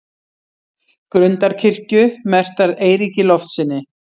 Grundarkirkju, merktar Eiríki Loftssyni.